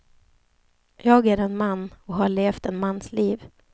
Jag är en man, och har levt en mans liv.